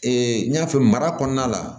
n y'a fɛ mara kɔnɔna la